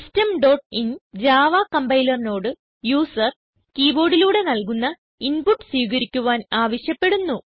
system dot in Java compiler നോട് user keyboard ലൂടെ നൽകുന്ന ഇൻപുട്ട് സ്വീകരിക്കുവാൻ ആവശ്യപ്പെടുന്നു